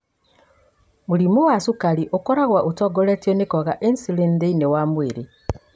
Mũrimũ wa cukari ũkoragwo ũtongoretio nĩ kwaga insulin thĩinĩ wa mwĩrĩ.